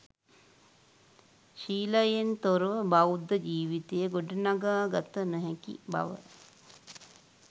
ශීලයෙන් තොරව බෞද්ධ ජීවිතය ගොඩනඟා ගත නොහැකි බව